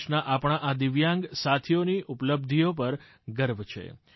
દેશના આપણા આ દિવ્યાંગ સાથીઓની ઉપલબ્ધિઓ પર ગર્વ છે